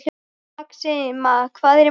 Maxima, hvað er í matinn?